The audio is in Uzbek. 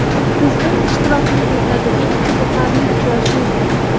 Sizning ishtirokingizdagi eng qiziqarli uchrashuv?